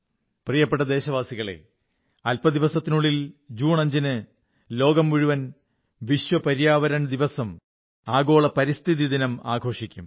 പ്രിയപ്പെട്ട ദേശവാസികളേ അല്പദിവസങ്ങൾക്കുള്ളിൽ ജൂൺ 5 ന് ലോകം മുഴുവൻ വിശ്വ പര്യാവരൺ ദിവസം ആഗോള പരിസ്ഥിതി ദിനം ആഘോഷിക്കും